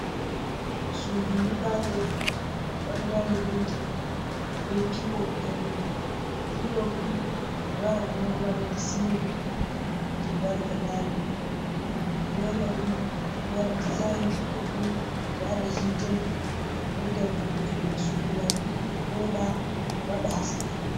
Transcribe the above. Suudu yiɓande waɗinande penti be pop hado man, pop ɓeɗo waɗa ɗo madadi cilin je be waɗata nane, ɓe waɗa dezinji boɗdum ɓewada hite ngam ɓedda vo’utungo sudu man voda wada haske.